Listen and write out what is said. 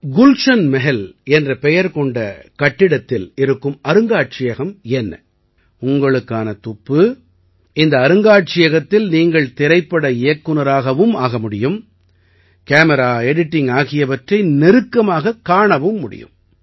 குல்ஷன் மஹல் என்ற பெயர் கொண்ட கட்டிடத்தில் இருக்கும் அருங்காட்சியகம் என்ன உங்களுக்கான துப்பு இந்த அருங்காட்சியகத்தில் நீங்கள் திரைப்பட இயக்குநராகவும் ஆக முடியும் கேமரா எடிட்டிங் ஆகியவற்றை நெருக்கமாகக் காண முடியும்